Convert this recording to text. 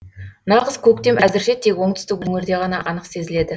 нағыз көктем әзірше тек оңтүстік өңірде ғана анық сезіледі